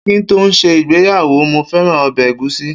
Ki n to se igbeyawo, mo feran obe egusi